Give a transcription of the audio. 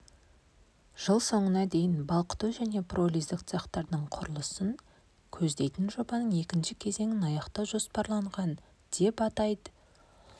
жыл соңына дейін балқыту және пиролиздік цехтердің құрылысын көздейдін жобаның екінші кезеңін аяқтау жоспарланған деп атап өтті баспасөз қызметінен